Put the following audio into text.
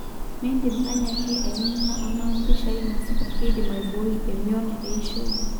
Mindim anyaki aniningo ama mpishai nasipa keidim aiboi emion eishoi?